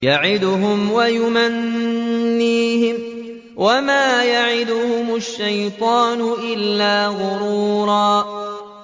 يَعِدُهُمْ وَيُمَنِّيهِمْ ۖ وَمَا يَعِدُهُمُ الشَّيْطَانُ إِلَّا غُرُورًا